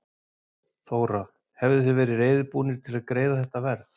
Þóra: Hefðuð þið verið reiðubúnir til að greiða þetta verð?